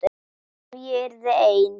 Ef ég yrði ein.